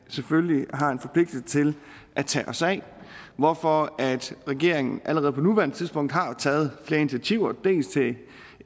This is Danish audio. selvfølgelig har en forpligtelse til at tage os af hvorfor regeringen allerede på nuværende tidspunkt har taget flere initiativer dels til